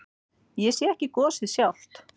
Ég sé ekki gosið sjálft.